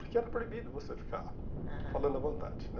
Porque era proibido você, aham, ficar falando à vontade, né?